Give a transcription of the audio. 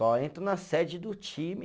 Só entro na sede do time